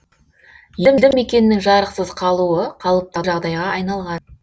елді мекеннің жарықсыз қалуы қалыпты жағдайға айналған